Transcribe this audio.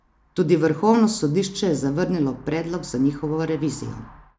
Tudi Vrhovno sodišče je zavrnilo predlog za njihovo revizijo.